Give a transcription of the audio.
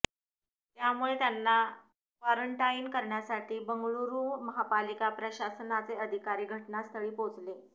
त्यामुळे त्यांना क्वारंटाइन कऱण्यासाठी बंगळुरू महापालिका प्रशासनाचे अधिकारी घटनास्थळी पोहोचले